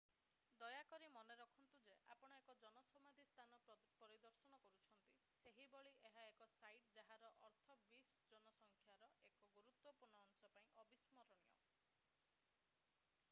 ଦୟାକରି ମନେରଖନ୍ତୁ ଯେ ଆପଣ ଏକ ଜନ ସମାଧି ସ୍ଥାନ ପରିଦର୍ଶନ କରୁଛନ୍ତି ସେହିଭଳି ଏହା ଏକ ସାଇଟ୍ ଯାହାର ଅର୍ଥ ବିଶ୍ ଜନସଂଖ୍ୟାର ଏକ ଗୁରୁତ୍ତ୍ବପୂର୍ଣ୍ଣ ଅଂଶ ପାଇଁ ଅବିସ୍ମରଣୀୟ